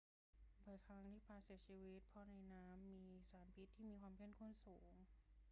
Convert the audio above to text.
บ่อยครั้งที่ปลาเสียชีวิตเพราะในน้ำมีสารพิษที่มีความเข้มข้นสูง